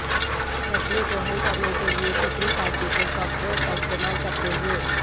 مسئلے کو حل کرنے کے لئے تیسری پارٹی کے سافٹ ویئر کا استعمال کرتے ہوئے